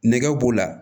Nɛgɛ b'o la